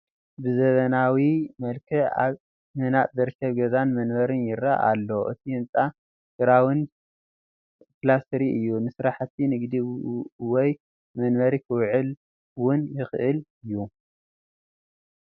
ብዘበናዊ መልክዕ ኣብ ምህናፅ ዝርከብ ገዛን መንበርን ይረአ ኣሎ፡፡ እቲ ህንፃ ግራውንድ +3 እዩ፡፡ ንስራሕቲ ንግዲ ወይ ንመንበሪ ክውዕል ውን ይኽእል እዩ፡፡